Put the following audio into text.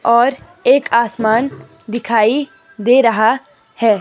और एक आसमान दिखाई दे रहा है।